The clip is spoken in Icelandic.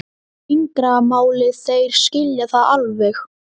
og fingramálið, þeir skilja það alveg.